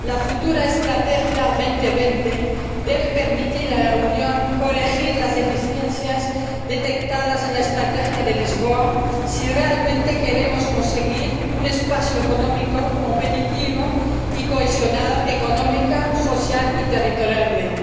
la futura Estrategia 2020 debe permitir a la Unión corregir las deficiencias detectadas en la Estrategia de Lisboa si realmente queremos conseguir un espacio económico competitivo y cohesionado económica, social y territorialmente.